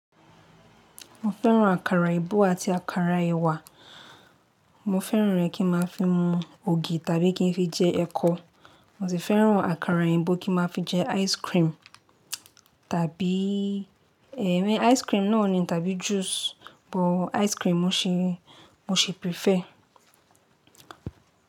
Mo fẹ́ràn àkàrà èbó àti àkàrà ẹ̀wà. Mo fẹ́ràn rẹ̀ kí n má fi mu ògì tàbí kí n fi jẹ ẹkọ. Mo sì fẹ́ràn àkàrà èyìnbó kí n má fi jẹ ice cream tàbí ẹ̀mí ice cream náà ni tàbí juice. But ice cream mo ṣi prefer.